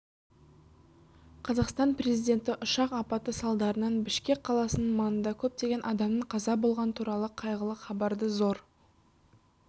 қазақстан президенті ұшақ апаты салдарынан бішкек қаласының маңында көптеген адамның қаза болғаны туралы қайғылы хабарды зор